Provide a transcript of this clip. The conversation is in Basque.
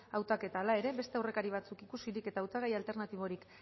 hautaketa hala ere beste aurrekari batzuk ikusirik eta hautagai alternatiborik